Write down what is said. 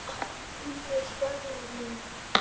Nei, svaraði Lúna.